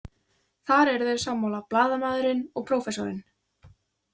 Þar eru þeir sammála, blaðamaðurinn og prófessorinn.